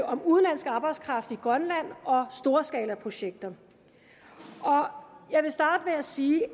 om udenlandsk arbejdskraft i grønland og om storskalaprojekter jeg vil starte med at sige at